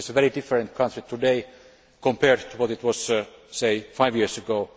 It is a very different country today compared to what it was, say, five years ago.